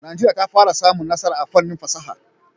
Najeriya ta fara samun nasara a fannin fasaha.